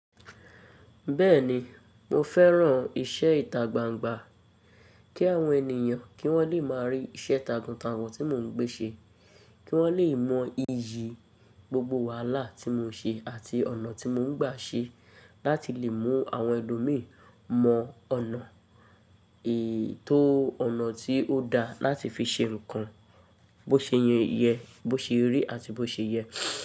Bẹ́ẹ̀ni, mo fẹ́ran iṣẹ́ ìtagbangba, kí àwọn ènìyàn kí wọ́n lè máa rí iṣẹ́ takuntakun tí mo ń gbé ṣe, kí wọ́n lè mọ iyì gbogbo wàhálà tí mo ṣe àti ọ̀nà tí mo ń gbà ṣe láti lè mú àwọn ẹlo mí mọ ọ̀nà èyí tó ọ̀nà tí ó da láti fi ṣe nǹkan, bó ṣe yẹn yẹ, bó ṣe rí àti bó ṣe yẹ.